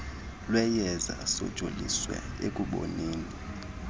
lweyeza sojoliswe ekuboneni